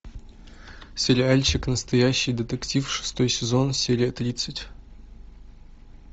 сериальчик настоящий детектив шестой сезон серия тридцать